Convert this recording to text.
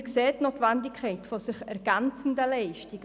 Wir sehen die Notwendigkeit sich ergänzender Leistungen.